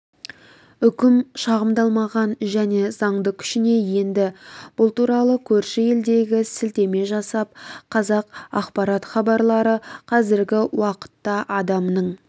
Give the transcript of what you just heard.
үкім шағымдалмаған және заңды күшіне енді бұл туралы көрші елдегі сілтеме жасап қазақ ақпарат хабарлары қазіргі уақытта адамның